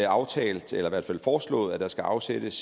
aftalt eller i hvert fald foreslået at der skal afsættes